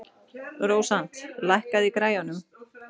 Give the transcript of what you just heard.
Rósant, lækkaðu í græjunum.